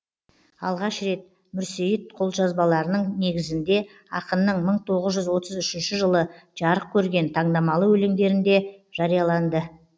алғаш рет мүрсейіт қолжазбаларының негізіңде ақынның мың тоғыз жүз отыз үшінші жылы жарық көрген тандамалы өлеңдерінде жарияланды